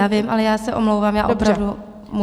Já vím, ale já se omlouvám, já opravdu musím.